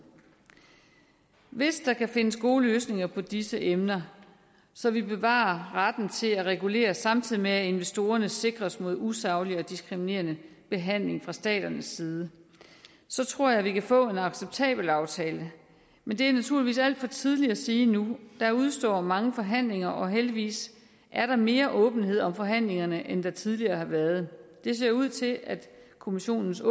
hvis der kan findes gode løsninger på disse emner så vi bevarer retten til at regulere samtidig med at investorerne sikres mod usaglig og diskriminerende behandling fra staternes side så tror jeg vi kan få en acceptabel aftale men det er naturligvis alt for tidligt at sige nu der udestår mange forhandlingerne og heldigvis er der mere åbenhed om forhandlingerne end der tidligere har været det ser ud til at kommissionens